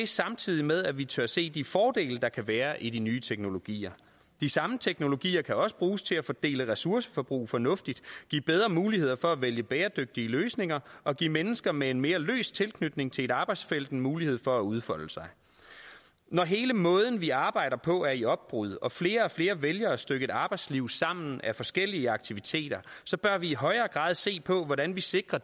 samtidig med at vi tør se de fordele der kan være i de nye teknologier de samme teknologier kan også bruges til at fordele ressourceforbrug fornuftigt give bedre muligheder for at vælge bæredygtige løsninger og give mennesker med en mere løs tilknytning til et arbejdsfelt en mulighed for at udfolde sig når hele måden vi arbejder på er i opbrud og flere og flere vælger at stykke et arbejdsliv sammen af forskellige aktiviteter så bør vi i højere grad se på hvordan vi sikrer